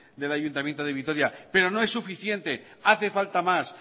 del ayuntamiento de vitoria pero no es suficiente hace falta más